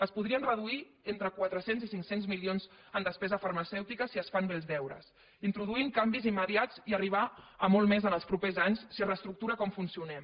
es podrien reduir entre quatre cents i cinc cents milions en despesa farmacèutica si es fan bé els deures introduint canvis immediats i arribar a molt més els propers anys si es reestructura com funcionem